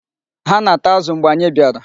Ha na-ata azụ mgbe anyị bịara.